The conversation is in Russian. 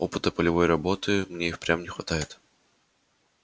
опыта полевой работы мне и впрямь не хватает